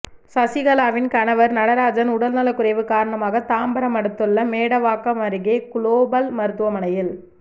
சசிகலாவின் கணவர் நடராஜன் உடல் நலக் குறைவு காரணமாக தாம்பரம் அடுத்துள்ள மேடவாக்கம் அருகே குளோபல் மருத்துவமனையில்